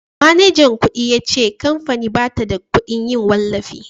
manajan kudi ya ce kamfanin ba ta da kudin yin wallafi